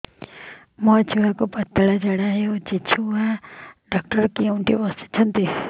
ମୋ ଛୁଆକୁ ପତଳା ଝାଡ଼ା ହେଉଛି ଛୁଆ ଡକ୍ଟର କେଉଁଠି ବସୁଛନ୍ତି